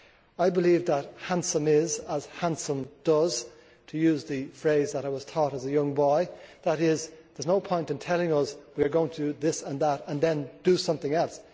I believe that handsome is as handsome does to use the phrase that I was taught as a young boy that is, there is no point in telling us we are going to do this and that and then do something else.